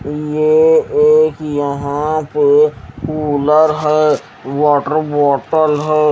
यह एक यहां पे कुलर है वाटर बॉटल है।